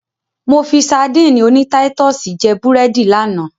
Mo fi sadíìnì oní táítọ̀sì jẹ́ búrẹ́dì lánàá.